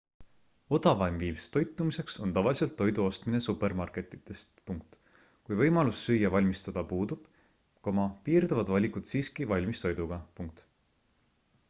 odavaim viis toitumiseks on tavaliselt toidu ostmine supermarketitest kui võimalus süüa valmistada puudub piirduvad valikud siiski valmistoiduga